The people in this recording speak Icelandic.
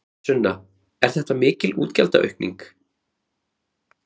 Sunna: Er þetta mikil útgjaldaaukning?